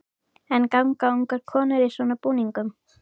En ganga ungar konur í svona búningum?